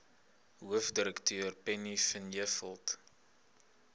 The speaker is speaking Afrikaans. hoofdirekteur penny vinjevold